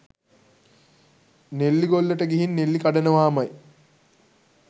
නෙල්ලිගොල්ලට ගිහින් නෙල්ලි කඩනවාමයි